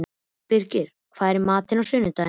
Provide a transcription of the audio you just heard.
Birgir, hvað er í matinn á sunnudaginn?